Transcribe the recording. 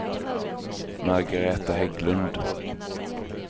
Margaretha Hägglund